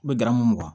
N bɛ garamu mugan